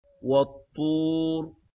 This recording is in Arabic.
وَالطُّورِ